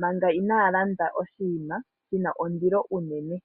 manga inaaya landa oshinima shina ondilo unene.